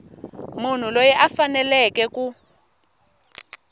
munhu loyi a faneleke ku